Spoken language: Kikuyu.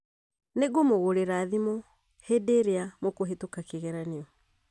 Nĩ ngũmũgũrĩra thimũ hĩndĩ ĩrĩa mũkũhĩtuka kĩgeranio